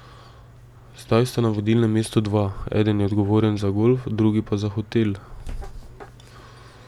Zdaj sta na vodilnem mestu dva, eden je odgovoren za golf , drugi pa za hotel.